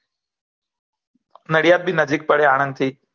નડીયાદ બી નજીક પડે આનંદ થી